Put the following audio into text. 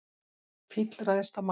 Fíll ræðst á mann